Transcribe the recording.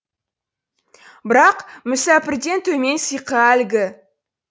бірақ мүсәпірден төмен сиқы әлгі